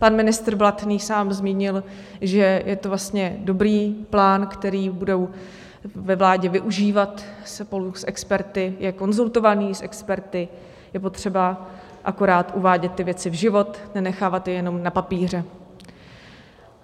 Pan ministr Blatný sám zmínil, že je to vlastně dobrý plán, který budou ve vládě využívat spolu s experty, je konzultovaný s experty, je potřeba akorát uvádět ty věci v život, nenechávat je jenom na papíře.